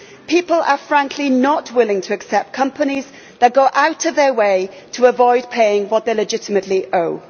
People are frankly not willing to accept companies that go out of their way to avoid paying what they legitimately owe.